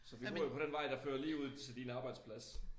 Så vi bor jo på den vej der fører lige ud til din arbejdsplads